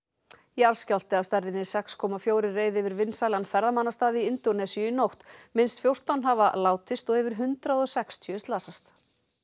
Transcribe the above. jarðskjálfti af stærðinni sex komma fjóra reið yfir vinsælan ferðamannastað í Indónesíu í nótt minnst fjórtán hafa látist og yfir hundrað og sextíu slasast